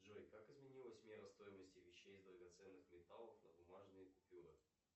джой как изменилась мера стоимости вещей из драгоценных металлов на бумажные купюры